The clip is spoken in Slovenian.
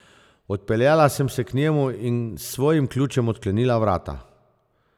Odpeljala sem se k njemu in s svojim ključem odklenila vrata.